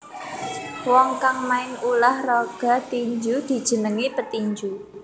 Wong kang main ulah raga tinju dijenengi petinju